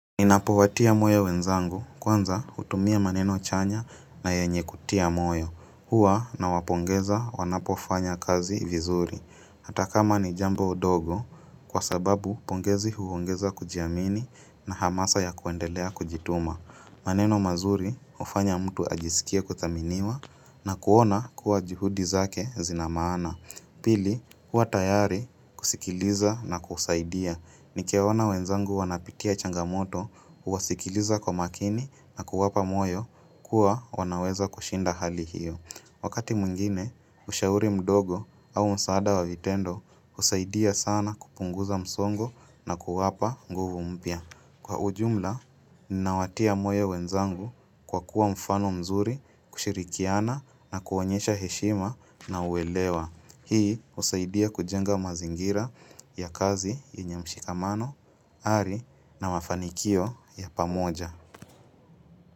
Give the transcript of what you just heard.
Ninapowatia moyo wenzangu, kwanza hutumia maneno chanya na yenye kutia moyo. Huwa nawapongeza wanapofanya kazi vizuri. Hata kama ni jambo dogo, kwa sababu pongezi huongeza kujiamini na hamasa ya kuendelea kujituma. Maneno mazuri hufanya mtu ajisikie kuthaminiwa na kuona kuwa juhudi zake zina maana. Pili, huwa tayari kusikiliza na kusaidia. Nikiwaona wenzangu wanapitia changamoto, huwasikiliza kwa makini na kuwapa moyo kuwa wanaweza kushinda hali hiyo. Wakati mwingine, ushauri mdogo au msaada wa vitendo husaidia sana kupunguza msongo na kuwapa nguvu mpya. Kwa ujumla, ninawatia moyo wenzangu kwa kuwa mfano mzuri, kushirikiana na kuwaonyesha heshima na uwelewa. Hii husaidia kujenga mazingira ya kazi yenye mshikamano, ari na mafanikio ya pamoja.